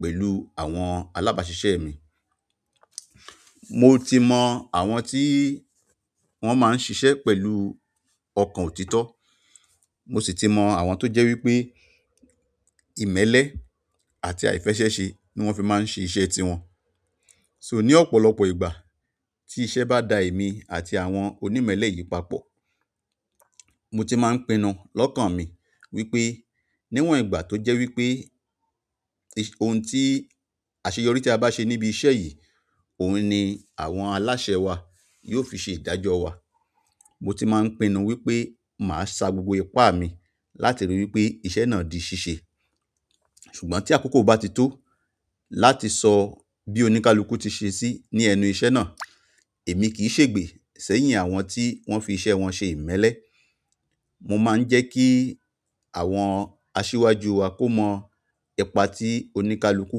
pẹ̀lú àwọn alábáṣiṣẹ́ mi. Mo ti mọ àwọn tí wọ́n máa ń ṣiṣẹ́ pẹ̀lú ọkàn òtítọ́, mo sì ti mọ àwọn tó jẹ́ wípé ìmẹ́lẹ́ àti àìfẹ́ṣẹ́ṣe ni wọ́n fi máa ń ṣe iṣẹ́ tiwọn. So ní ọ̀pọ̀lọpọ̀ ìgbà tí iṣẹ́ bá da èmi àti àwọn onímẹ́lẹ́ yìí papọ̀, mo ti máa ń pinnu lọ́kàn mi wípé níwọ̀n ìgbà tó jẹ́ wípé ohun tí àṣeyọrí tí a bá ṣe níbi iṣẹ́ yìí, òun ni àwọn aláṣẹ wa yóò fi ṣe ìdájọ́ wa. Mo ti máa ń pinnu wípé màá sa gbogbo ipá mi láti rí i wípé iṣẹ́ náà di ṣíṣe. Ṣùgbọ́n tí àkókò bá ti tó láti sọ bí oníkálukú ti ṣe sí ní ẹnu iṣẹ́ náà, èmi kì í sègbè sẹ́yìn àwọn tí wọ́n fi iṣẹ́ wọn ṣe ìmẹ́lẹ́. Mo máa ń jẹ́ kí àwọn asíwájú wa kó mọ ipa tí oníkálukú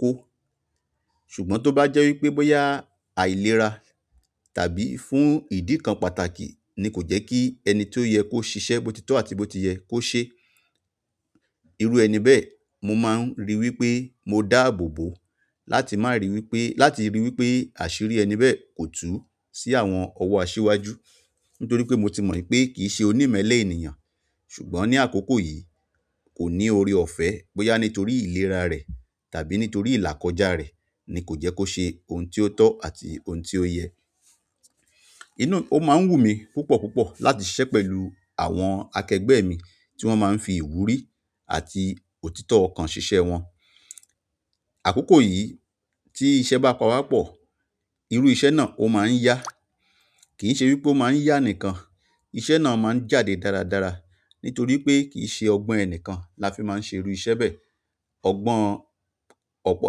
kó. Ṣùgbọ́n to ba je wípé boya àìlera tàbí fún idi kan pàtàkì ni ko je ki ẹni to sise bo tito àti bi ti ye se iru ẹni be mo maa n ri wípé mo daa bobo láti máa rí i wípé, láti rí i wípé àṣírí ẹni bẹ́ẹ̀ kò tú sí àwọn ọwọ́ asíwájú. Nítorí pé mo ti mọ̀ wípé kì í ṣe onímẹ́lẹ́ ènìyàn, ṣùgbọ́n ní àkókò yìí kò ní oore ọ̀fẹ́, bóyá nítorí ìlera rẹ̀ tàbí nítorí ìlàkọjá rẹ̀ ni kò jẹ́ kó ṣe ohun tí ó tọ́ àti ohun tí ó yẹ. Ó máa ń wù mí púpọ̀ púpọ̀ láti ṣiṣẹ́ pẹ̀lú àwọn akẹgbẹ́ mi tí wọ́n máa ń fi ìwúrí àti òtítọ́ ọkàn ṣiṣẹ́ wọn. Àkókò yìí tí iṣẹ́ bá pawapọ̀, irú iṣẹ́ náà ó máa ń yá. Kì í ṣe wípé ó máa ń yá nìkan, iṣẹ́ náà máa ń jáde dáradára nítorí pé kì í ṣe ọgbọ́n ẹni kan la fi máa ń ṣe irú iṣẹ́ bẹ́ẹ̀. Ọgbọ́n ọ̀pọ̀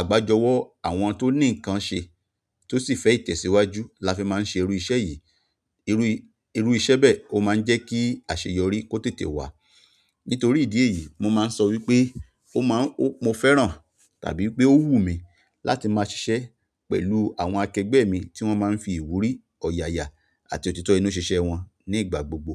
àgbájọwọ́ àwọn tó ní nǹkan ṣe tó sì fẹ́ ìtẹ̀síwájú la fi máa ń ṣe irú iṣẹ́ yìí. Irú, irú iṣẹ́ bẹ́ẹ̀ ó máa ń jẹ́ kí àṣeyọrí kó tètè wá. Nítorí ìdí èyí, mo máa ń sọ wípé ó máa ń, mo fẹ́ràn tàbí pé ó wù mí láti máa ṣiṣẹ́ pẹ̀lú àwọn akẹgbẹ́ mi tí wọ́n máa ń fi ìwúrí, ọ̀yààyà àti òtítọ́ inú ṣe iṣẹ́ wọn ní ìgbà gbogbo.